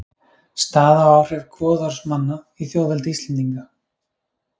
Staða og áhrif goðorðsmanna í þjóðveldi Íslendinga.